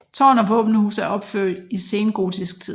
Tårn og våbenhus er opført i sengotisk tid